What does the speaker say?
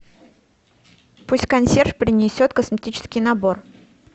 пусть консьерж принесет косметический набор